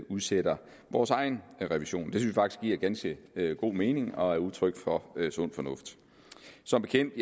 udsætter vores egen revision det faktisk giver ganske god mening og er udtryk for sund fornuft som bekendt